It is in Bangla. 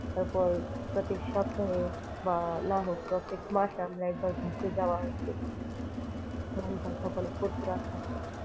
তারপর প্রত্যেক সপ্তাহে বা না হোক প্রত্যেক মাসে আমরা একবার ঘুরতে যাওয়া উচিত মন খান ফুরফুরা থাকে।